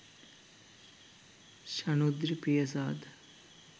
shanudri priyasad